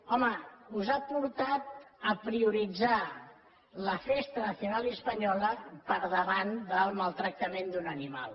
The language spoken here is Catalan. home us ha portat a prioritzar la festa nacional y española per davant del maltractament d’un animal